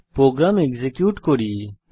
programme execute করি